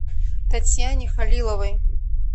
татьяне халиловой